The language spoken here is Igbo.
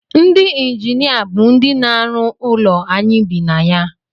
Ndị injinia bụ ndị na-arụ ụlọ anyị bi na ya